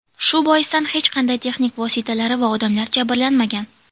Shu boisdan hech qanday texnik vositalari va odamlar jabrlanmagan.